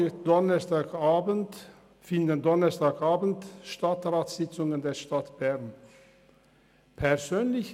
Am Donnerstagabend finden in diesem Saal Stadtratssitzungen der Stadt Bern statt.